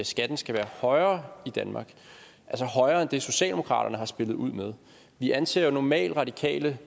skatten skal være højere i danmark altså højere end det socialdemokratiet har spillet ud med vi anser jo normalt radikale